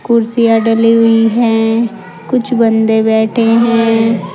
कुर्सियां डली हुई हैं कुछ बंदे बैठे है।